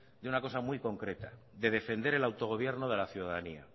de una cosa muy concreta de defender el autogobierno de la ciudadanía